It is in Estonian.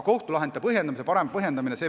Kohtulahendeid peaks ikkagi paremini põhjendama.